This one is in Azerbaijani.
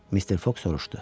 Mr. Foq soruşdu.